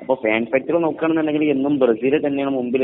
അപ്പോൾ ഫാൻ നോക്കുകയാണെങ്കിൽ എന്നും ബ്രസീൽ തന്നെയാണ് മുന്നിൽ